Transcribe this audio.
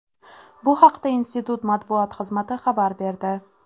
Bu haqda institut matbuot xizmati xabar berdi .